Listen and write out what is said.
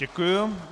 Děkuji.